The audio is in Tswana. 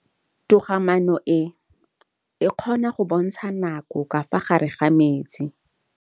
Toga-maanô e, e kgona go bontsha nakô ka fa gare ga metsi.